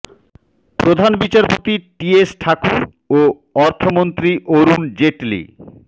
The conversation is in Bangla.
প্রধান বিচারপতি টি এস ঠাকুর ও অর্থমন্ত্রী অরুণ জেটলি